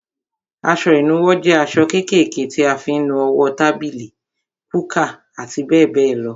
Aṣọ ìnuwọ́ jẹ aṣọ kékèké tí a fi ń nu owó, tábìlì, kúkà àti bẹ́ẹ̀ bẹ́ẹ̀ lọ.